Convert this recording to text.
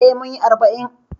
Eh, munyi arba'in